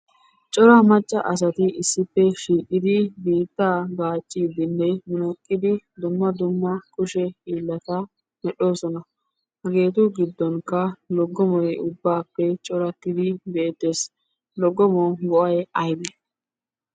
Cora macca asati issippe shiiqidi biitta gaaccidinne munaqqidi dumma dumma kushe hiilata medhdhoosona. Hageetu giddonkka loggomoy ubbappe corattidi beettees. Logomuwu go"ay aybbe?